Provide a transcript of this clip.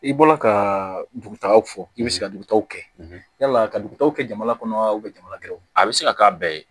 I bɔra ka dugutagaw fɔ i bɛ se ka dugutagaw kɛ yala ka dugutaw kɛ jamana kɔnɔ wa jamana kelenw a bɛ se ka k'a bɛɛ ye